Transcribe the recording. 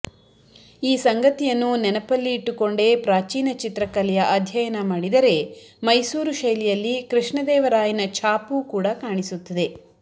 ಈ ಸಂಗತಿಯನ್ನು ನೆನಪಲ್ಲಿ ಇಟ್ಟುಕೊಂಡೇ ಪ್ರಾಚೀನ ಚಿತ್ರಕಲೆಯ ಅಧ್ಯಯನ ಮಾಡಿದರೆ ಮೈಸೂರು ಶೈಲಿಯಲ್ಲಿ ಕೃಷ್ಣದೇವರಾಯನ ಛಾಪೂ ಕೂಡ ಕಾಣಿಸುತ್ತದೆ